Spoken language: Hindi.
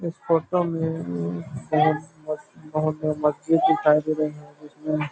उस फ़ोटो में बहुत बहुत बड़ा मस्जिद दिखाई दे रहे है जिसमें--